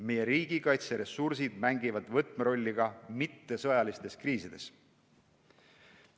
Meie riigikaitseressursid mängivad võtmerolli ka mittesõjalistes kriisides.